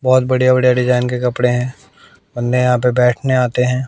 बहोत बढ़िया बढ़िया डिजाइन के कपड़े हैं बन्दे यहां पे बैठने आते हैं।